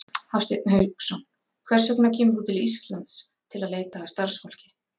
Hafsteinn Hauksson: Hvers vegna kemur þú til Íslands til að leita að starfsfólki?